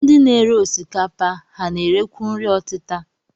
Ndị na-ere osikapa, ha na-erekwu nri ọtịta?